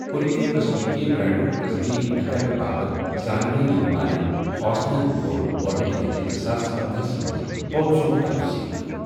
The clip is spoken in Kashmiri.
کُنہٕ تہٕ قٕسمٕکہٕ برانڈُک تصدیق نہٕ کرنہٕ باپتھ زاننہٕ یٕنہٕ وٲلہٕ ہاسنن کور گوٚڈنٕچہِ لٕٹہِ زٕساس پندہَ ہَس منزپوتھیسُک توثیق ۔